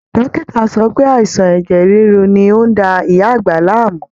Dọ́kìtà sọ pé àìsàn ẹ̀jẹ̀ ríru ni ó ń da ìyá àgbà láàmú